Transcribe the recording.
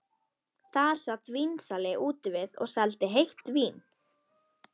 Þar sat vínsali úti við og seldi heitt vín.